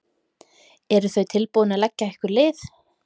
Eru þau tilbúin til að leggja ykkur lið?